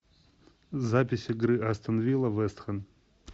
запись игры астон вилла вест хэм